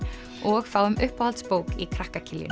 og fáum uppáhaldsbók í krakka